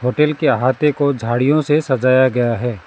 Hotel के अहाते को झाड़ियों से सजाया गया है।